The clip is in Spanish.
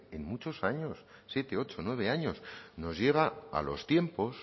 en muchos años en siete o nueve años nos lleva a los tiempos